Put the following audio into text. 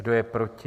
Kdo je proti?